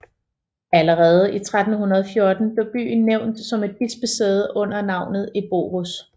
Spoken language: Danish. Allerede i 314 blev byen nævnt som et bispesæde under navnet Eborus